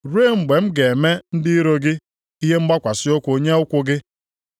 ruo mgbe m ga-eme ndị iro gị ihe mgbakwasị ụkwụ nye ụkwụ gị.” ’+ 20:43 \+xt Abụ 110:1\+xt*